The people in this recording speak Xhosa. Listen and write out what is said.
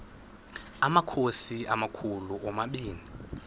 amakhosi amakhulu omabini